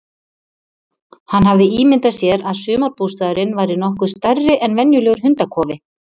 Hann hafði ímyndað sér að sumarbústaðurinn væri nokkuð stærri en venjulegur hundakofi.